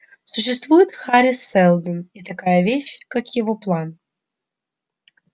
существует хари сэлдон и такая вещь как его план